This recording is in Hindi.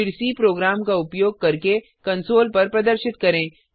फिर सी प्रोग्राम का उपयोग करके कंसोल पर प्रदर्शित करें